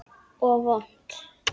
Og vont.